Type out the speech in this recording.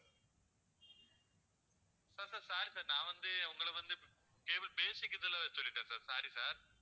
sir sir sorry sir நான் வந்து உங்களை வந்து basic இதுல சொல்லிட்டேன் sir sorry sir